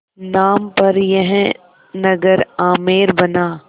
नाम पर यह नगर आमेर बना